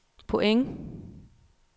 point